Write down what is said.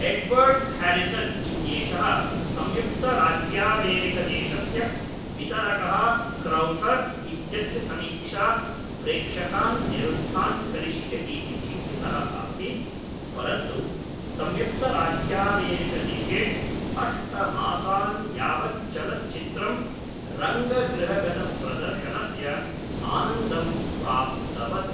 Edward Harrison इत्येषः संयुक्तराज्यामेरिकदेशस्य वितरकः क्रौथर् इत्यस्य समीक्षा प्रेक्षकान् निरुद्धान् करिष्यति इति चिन्तितः आसीत् परन्तु संयुक्तराज्यामेरिकदेशे अष्टमासान् यावत् चलच्चित्रं रङ्गगृहगतप्रदर्शनस्य आनन्दम् प्राप्तवत्।